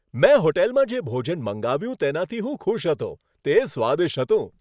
મેં હોટલમાં જે ભોજન મંગાવ્યું તેનાથી હું ખુશ હતો. તે સ્વાદિષ્ટ હતું.